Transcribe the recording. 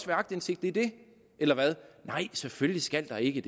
være aktindsigt i det eller hvad nej selvfølgelig skal der ikke